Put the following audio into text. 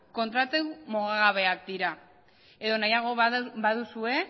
kontratu mugagabeak dira edo nahiago baduzue